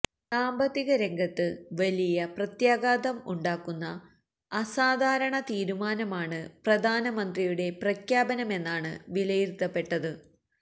സാമ്പത്തിക രംഗത്ത് വലിയ പ്രത്യാഘാതം ഉണ്ടാക്കുന്ന അസാധാരണ തീരുമാനമാണ് പ്രധാനമന്ത്രിയുടെ പ്രഖ്യാപനമെന്നാണ് വിലയിരുത്തപ്പെട്ടത്